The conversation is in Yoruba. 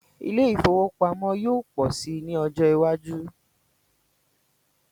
Ilé ifówópamọ́ yóò pọ̀ si ní ọjọ́ iwájú